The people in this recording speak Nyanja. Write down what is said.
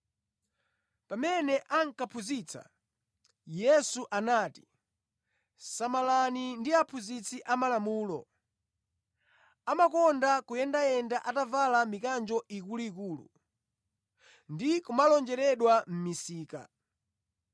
Pamene ankaphunzitsa, Yesu anati, “Samalani ndi aphunzitsi a malamulo. Amakonda kuyendayenda atavala mikanjo ikuluikulu ndi kumalonjeredwa mʼmisika.